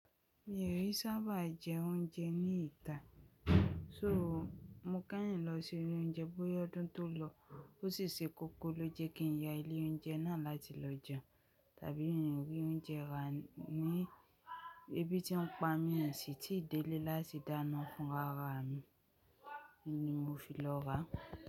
Mi ò kin sábà jẹ oúnjẹ ní ìta. So mo kẹ́yìn lọ sí ilé oúnjẹ bóyá ọdún tó lọ ó sì ṣe kókó lóje kí n ya ilé oúnjẹ náà láti lọ jẹun, tàbí mi o rí oúnjẹ ra ní ebi tí n pa mí n o sí tíi délé láti dáná fún ara mi ni mo fi lọ ra.